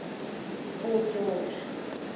fort george